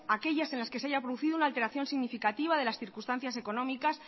aquellas en las que se haya producido una alteración significativa de las circunstancias económicas